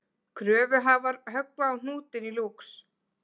Kröfuhafar höggva á hnútinn í Lúx